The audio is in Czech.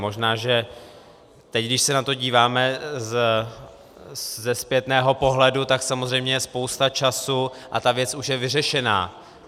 Možná že teď, když se na to díváme ze zpětného pohledu, tak samozřejmě je spousta času a ta věc už je vyřešená.